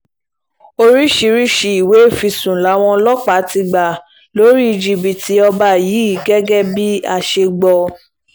oríṣiríṣiì ìwé ìfisùn làwọn ọlọ́pàá ti gbà lórí jìbìtì ọba yìí gẹ́gẹ́ bá a ṣe gbọ́